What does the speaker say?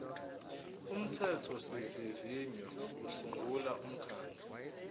umthethosivivinyo usungula umkhandlu